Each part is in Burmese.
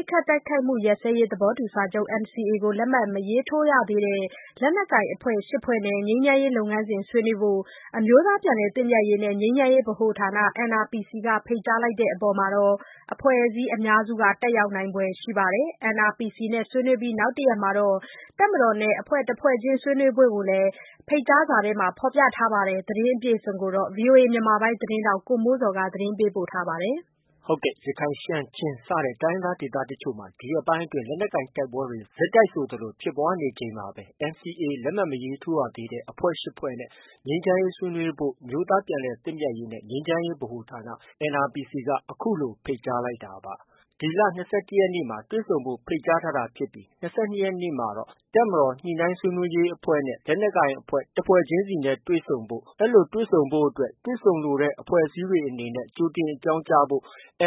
စ်ခတ်တိုက်ခိုက်မှုရပ်စဲရေး သဘောတူစာချုပ် NCA ကို လက်မှတ်မရေးထိုးသေးတဲ့ လက်နက်ကိုင်အဖွဲ့ ၈ဖွဲ့နဲ့ ငြိမ်းချမ်းရေးလုပ်ငန်းစဉ် ဆွေးနွေးဖို့ အမျိုးသားပြန်လည်သင့်မြတ်ရေးနဲ့ ငြိမ်းချမ်းရေးဗဟိုဌာန NRPC က ဖိတ်ကြားလိုက်တဲ့အပေါ် အဖွဲ့အစည်းအများစု တက်ရောက်နိုင်ဖွယ် ရှိပါတယ်။ NRPC နဲ့ ဆွေးနွေးပြီး နောက်တစ်ရက်မှာ တပ်မတော်နဲ့ တစ်ဖွဲ့ချင်း ဆွေးနွေးဖို့ကိုလည်း ဖိတ်ကြားစာမှာ ဖော်ပြထားပါတယ်။ ဒီသတင်းကိုတော့ ဗီအိုအေ မြန်မာပိုင်းရဲ့ သတင်းထောက် ကိုမိုးဇော်က တင်ပြထားပါတယ်။ ဟုတ်ကဲ့။ ရခိုင်၊ ရှမ်း၊ ချင်း စတဲ့ တိုင်းရင်းသား ဒေသတချို့မှာ ဒီရက်ပိုင်း လက်နက်ကိုင်တိုက်ပွဲတွေ ဆက်တိုက်ဆိုသလို ဖြစ်ပွားနေချိန်မှာပဲ NCA လက်မှတ် မထိုးရသေးတဲ့ အဖွဲ့ ၈ ဖွဲ့နဲ့ ငြိမ်းချမ်းရေးဆွေးနွေးဖို့ အမျိုးသားပြန်လည်သင့်မြတ်ရေးနဲ့ ငြိမ်းချမ်းရေးဗဟိုဌာန NRPC က ခုလို ဖိတ်ကြားလိုက်တာပါ။ ၂၁ ရက်နေ့မှာတွေ့ဆုံဖို့ ဖိတ်ကြားတာဖြစ်ပြီး ၂၂ ရက်နေ့မှာတော့ တပ်မတော်ညှိနှိုင်း ဆွေးနွေးရေးအဖွဲ့နဲ့ လက်နက်ကိုင်အဖွဲ့ တဖွဲ့ချင်းစီ တွေ့ဆုံဖို့… အဲဒီလိုတွေ့ဆုံဖို့အတွက် တွေ့ဆုံလိုတဲ့ အဖွဲ့အစည်းတွေအနေနဲ့ ကြိုတင် အကြောင်းပြန်ကြားဖို့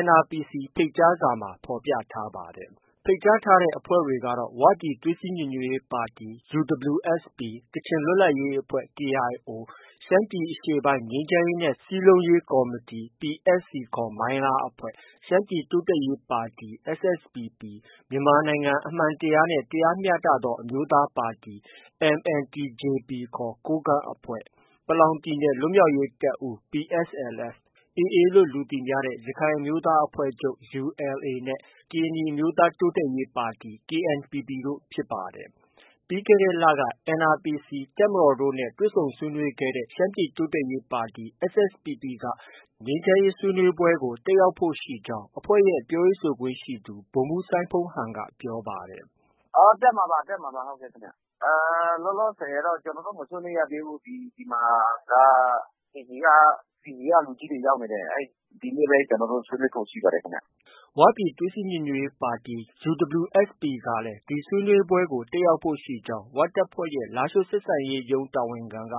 NRPC ဖိတ်ကြားစာမှာ ဖော်ပြထားပါတယ်။ ဖိတ်ကြားထားတဲ့ အဖွဲ့တွေကတော့ ဝပြည်သွေးစည်း ညီညွတ်ရေးပါတီ UWSP ၊ ကချင်လွတ်လပ်ရေးအဖွဲ့ KIO ၊ ရှမ်းပြည်အရှေ့ပိုင်း ငြိမ်းချမ်းရေးနဲ့ စည်းလုံးရေးကော်မတီ PSC ခေါ် မိုင်းလားအဖွဲ့၊ ရှမ်းပြည်တိုးတက်ရေးပါတီ SSPP၊ မြန်မာနိုင်ငံ အမှန်တရားနှင့် တရားမျှတသော အမျိုးသားပါတီ MNTJP ခေါ် ကိုးကန့်အဖွဲ့၊ ပလောင်ပြည်နယ် လွတ်မြောက်ရေးတပ်ဦး PSLF၊ ရက္ခိုင် အမျိုးသားအဖွဲ့ချုပ် ULA / AA နဲ့ ကရင်နီ အမျိုးသားတိုးတက်ရေးပါတီ KNPP တို့ ဖြစ်ပါတယ်။ ပြီးခဲ့တဲ့လက NRPC ၊ တပ်မတော်တို့နဲ့ တွေ့ဆုံဆွေးနွေးခဲ့တဲ့ ရှမ်းပြည်တိုးတက်ရေးပါတီ SSPP က တက်ရောက်ဖို့ရှိကြောင်း အဖွဲ့ရဲ့ ပြောရေးဆိုခွင့်ရှိသူ ဗိုလ်မှုးစိုင်းဖုန်းဟန်က ပြောပါတယ်။ “ တက်မှာပါ။ တက်မှာပါခင်ဗျ။ လောလောဆည်တော့ ကျနော်တို့ မဆွေးနွေးရသေးဘူး။ ဒီမှာက PB က လူကြီးတွေ ရောက်နေတယ်။ ဒီနေ့ပဲ ကျနော်တို့ ဆွေးနွေးဖို့ ရှိပါတယ်ခင်ဗျ။” ဝပြည်သွေးစည်း ညီညွတ်ရေးပါတီ UWSP ကလည်း ဒီဆွေးနွေးပွဲကို တက်ရောက်ဖို့ ရှိကြောင်း ဝတပ်ဖွဲ့ရဲ့ လားရှိုး ဆက်ဆံရေးရုံး တာဝန်ခံက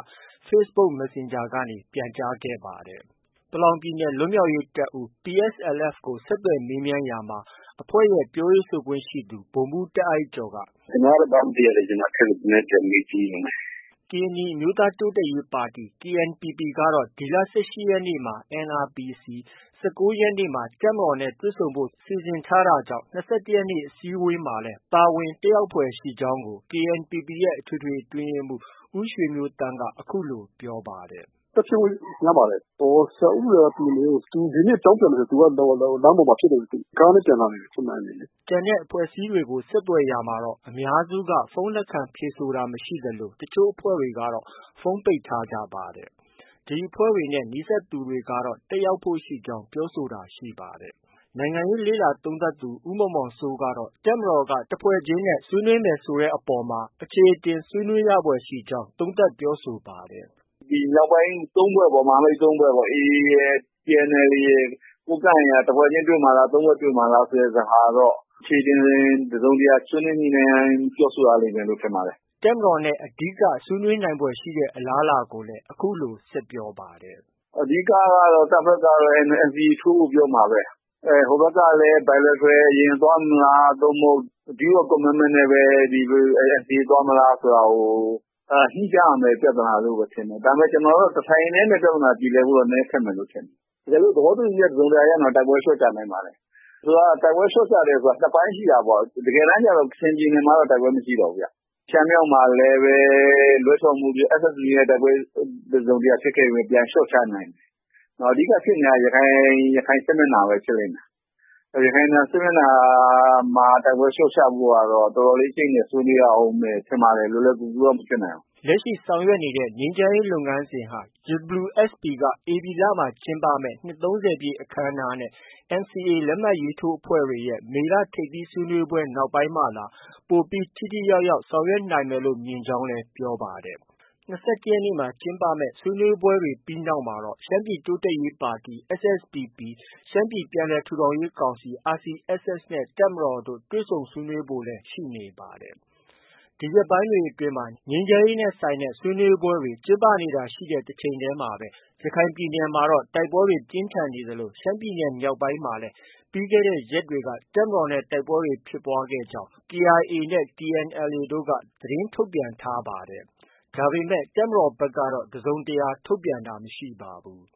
facebook messenger ကနေ ပြန်ကြားခဲ့ပါတယ်။ ပလောင်ပြည်နယ် လွတ်မြောက်ရေးတပ်ဦး PSLF ကို ဆက်သွယ်ရာမှာ အဖွဲ့ရဲ့ ပြောခွင့်ရသူ ဗိုလ်မှုးတာ့အိုက်ကျော်က - “ ကျနော်ကတော့ ဘာမှ မသိရသေးဘူး။ အထက်ကို ပြန်မေးကြည့်အုံးမယ်။” ကရင်နီ အမျိုးသားတိုးတက်ရေးပါတီ KNPPကတော့ ဒီလ ၁၈ရက်နေ့မှာ NRPC ၊ ၁၉ရက်နေ့မှာ တပ်မတော်နဲ့ တွေ့ဆုံဖို့ စီစဉ်ထားခဲ့တာဖြစ်ပါတယ်။၂၁ရက်အစည်းအဝေးမှာလည်း ပါဝင် တက်ရောက်ဖွယ်ရှိကြောင်းကို KNPP ရဲ့ အထွေထွေ အတွင်းရေးမှုး ဦးရွှေမျိုးသန့်က အခုလို ပြောပါတယ်။ “တက်ဖြစ်ဖို့ များပါတယ်။ ဆရာခူးဦးရယ်က ဒီနေ့ အကြောင်းပြန်မယ်ထင်တယ်။ သူဒီနေ့ လမ်းပေါ်မှာဖြစ်နေ လို့။ကားနဲ့ ပြန်လာနေတယ် ချင်းမိုင်ကနေ။” ကျန်တဲ့အဖွဲ့အစည်းတွေကို ဆက်သွယ်ရာမှာတော့ အများစုက ဖုန်း လက်ခံဖြေဆိုတာမရှိသလို တစ်ချို့အဖွဲ့တွေ ကတော့ ဖုန်းပိတ်ထားကြပါတယ်။ ဒီအဖွဲ့တွေနဲ့ နီးစပ်သူတွေကတော့ တက်ရောက်ဖို့ ရှိနေကြောင်း ပြောဆိုတာ ရှိပါတယ်။ နိုင်ငံရေး လေ့လာသုံးသပ်သူ ဦးမောင်မောင်စိုးကတော့ တပ်မတော်က တစ်ဖွဲ့ချင်းနဲ့ ဆွေးနွေးမယ်ဆိုတဲ့အပေါ်မှာ အချေအတင်ဆွေးနွေးရဖွယ်ရှိကြောင်း သုံးသပ်ပြောဆိုပါတယ်။ “ ဒီမြောက်ပိုင်း ၃ဖွဲ့ပေါ့။ မဟာမိတ် ၃ဖွဲ့ပေါ့။ ဒီ AA ရယ်၊ TNLA ရယ်၊ ကိုးကန့်ရယ်ကတော့ တစ်ဖွဲ့ချင်း တွေ့မှာလား။ ၃ဖွဲ့တွေ့မှာလား ဆိုတဲ့ဟာကတော့ အချေအတင် တစ်စုံတစ်ရာ ဆွေးနွေးညှိနှိုင်းရမယ်လို့ ထင်ပါတယ်။ ” တပ်မတော်နဲ့ ဆွေးနွေးနိုင်ဖွယ်ရှိတဲ့ အလားအလာကိုလည်း အခုလို ဆက်ပြောပါတယ်။ “ အဓိကကတော့ တပ်ဘက်ကတော့ NCA ထိုးဖို့ ပြောမှာပဲ။ ဟိုဘက်ကလည်း Bilateral သွားမလား။ ဒါမှ မဟုတ် Deed of commitment နဲ့ပဲ NCA သွားမလားဆိုတာကို ညှိကြရမယ့် ပြဿနာလို့ပဲ ထင်တယ်။ ကျနော်တော့ တစ်ထိုင်တည်းနဲ့ ပြဿနာပြေလည်ဖို့ဆိုတာတော့ ခက်မယ်ထင်တယ်။ တကယ်လို့ သဘောတူညီချက် တစ်စုံတစ်ရာရရင်တော့ တိုက်ပွဲလျော့ချနိုင်ပါတယ်။ ဆိုလိုတာက တိုက်ပွဲလျော့ချတယ်ဆိုတာ ၂ပိုင်းရှိတာပေါ့။ တကယ်တမ်းကျ ကချင်ပြည်နယ်မှာက တိုက်ပွဲမရှိတော့ဘူးဗျ။ ရှမ်းမြောက်မှာလည်းပဲ SSPP နဲ့ တိုက်ပွဲဖြစ်ခဲ့ပေမဲ့ လျော့ချနိုင်ခဲ့တယ်။ အဓိကဖြစ်နေတာက ရခိုင်စစ်မျက်နှာပဲ။ ရခိုင်စစ်မျက်နှာမှာ တိုက်ပွဲလျော့ချဖို့ကတော့ တော်တော်လေး အကျိတ်အနယ် ဆွေးနွေးရအုံးမယ်ထင်ပါတယ်။ လွယ်လွယ်ကူကူတော့ မဖြစ်နိုင်ဘူး။ ” ငြိမ်းချမ်းရေးလုပ်ငန်းစဉ်တွေဟာ UWSA က ဧပြီလမှာ ကျင်းပမယ့် နှစ် ၃၀ပြည့်အခမ်းအနားနဲ့ NCA လက်မှတ်ထိုးအဖွဲ့တွေရဲ့ မေလ ထိပ်သီးဆွေးနွေးပွဲတွေ နောက်ပိုင်းမှသာ ပိုပြီး ထိထိရောက်ရောက် ဆောင်ရွက်နိုင်မယ်လို့ မြင်ကြောင်းလည်း ပြောပါတယ်။ ဒီဆွေးနွေးပွဲတွေနောက်မှာတော့ ရှမ်းပြည်တိုးတက်ရေးပါတီ SSPP ၊ ရှမ်းပြည်ပြန်လည်ထူထောင်ရေးကောင်စီ RCSS နဲ့ တပ်မတော်တို့ တွေ့ဆုံဆွေးနွေးဖို့လည်း ရှိနေပါတယ်။ ဒီရက်ပိုင်းတွေအတွင်း ငြိမ်းချမ်းရေးနဲ့ဆိုင်တဲ့ ဆွေးနွေးပွဲတွေ ကျင်းပနေတာရှိတဲ့တချိန်တည်းမှာပဲ ရခိုင်ပြည်နယ်မှာတော့ တိုက်ပွဲတွေ ပြင်းထန်နေသလို ရှမ်းပြည်နယ်မြောက်ပိုင်းမှာ လည်း ပြီးခဲ့တဲ့ ရက်တွေက တပ်မတော်နဲ့ တိုက်ပွဲတွေဖြစ်ပွားကြောင်း KIA၊ TNLA တို့က သတင်းထုတ်ပြန်ထားတာရှိပါတယ်။ ဒါပေမဲ့ တပ်မတော်ဘက်ကတော့ တစ်စုံတစ်ရာ ထုတ်ပြန်တာမရှိပါဘူး